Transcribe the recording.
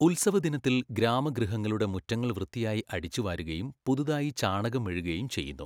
ഉത്സവദിനത്തിൽ ഗ്രാമഗൃഹങ്ങളുടെ മുറ്റങ്ങൾ വൃത്തിയായി അടിച്ചുവാരുകയും പുതുതായി ചാണകം മെഴുകുകയും ചെയ്യുന്നു.